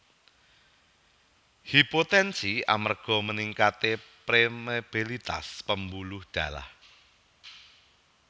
Hipotensi amerga meningkate permeabilitas pembuluh darah